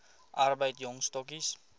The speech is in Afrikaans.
arbeid jong stokkies